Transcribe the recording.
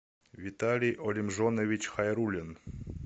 виталий олимжонович хайруллин